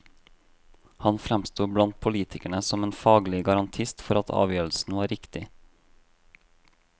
Han fremsto blant politikerne som en faglig garantist for at avgjørelsen var riktig.